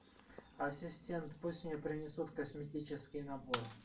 ассистент пусть мне принесут косметический набор